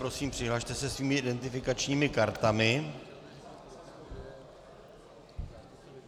Prosím, přihlaste se svými identifikačními kartami.